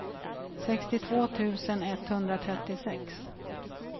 sextiotvå tusen etthundratrettiosex